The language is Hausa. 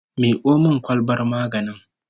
Miko min kwalbar maganin